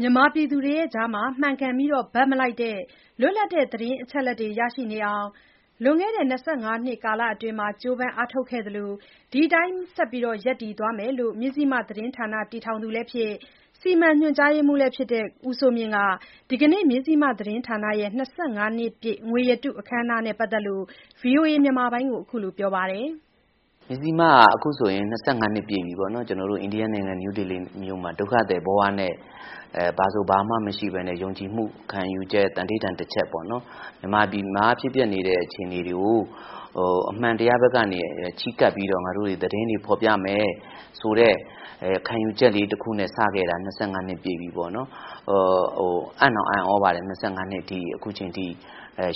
မြန်မာပြည်သူတွေကြား မှန်ကန်ပြီးဘက်မလိုက်တဲ့ လွတ်လပ်တဲ့ သတင်းအချက်အလက်တွေ ရရှိနေအောင် လွန်ခဲ့တဲ့ ၂၅ နှစ် ကာလအတွင်း ကြိုးပမ်းအားထုတ်ခဲ့သလို ဒီအတိုင်း ဆက်လက် ရပ်တည်သွားမယ်လို့ မဇ္ဈိမသတင်းဌာနတည်ထောင်သူလည်းဖြစ်၊ စီမံညွှန်ကြားရေးမှူးလည်း ဖြစ်တဲ့ ဦးစိုးမြင့်က ဒီကနေ့ မဇ္ဈိမသတင်းဌာနရဲ့ ၂၅နှစ်ပြည့်ငွေရတုနဲ့ ပတ်သက်လို့ ဗွီအိုအေကို အခုလိုပြောပါတယ်။ "အခုဆိုရင် မဇ္ဈိမဟာ ၂၅ နှစ်ပြည့်ပြီပေါ့နော်။ ကျွန်တော်တို့ အိန္ဒိယနိုင်ငံ၊ နယူးဒေလီမြို့မှာ ဒုက္ခသည်ဘဝနဲ့ ဘာဆိုဘာမှမရှိဘဲနဲ့ ယုံကြည်မှု ခံယူချက် သန္နိဌာန်တချက်ပေါ့နော် မြန်မာပြည်မှာ ဖြစ်ပျက်နေတဲ့အခြေအနေတွေကို အမှန်တရားဘက်က ချဉ်းကပ်ပြီးတော့ သတင်းတွေဖော်ပြမယ်ဆိုတဲ့ ခံယူချက်လေးတခုနဲ့ စတင်ခဲ့တာ ၂၅ နှစ်ပြည့်ပြီပေါ့နော်။ အံ့တောင်အံ့သြပါတယ်။ ၂၅ နှစ်ရှိပြီ အခုအချိန်ထိ